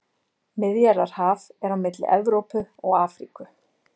Miðjarðarhaf er á milli Evrópu og Afríku.